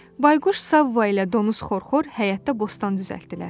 Bayquş Savva ilə Donuz Xorxor həyətdə bostan düzəltdilər.